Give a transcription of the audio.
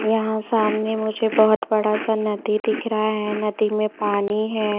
यहां सामने मुझे बहुत बड़ा सा नदी दिख रहा है नदी में पानी है।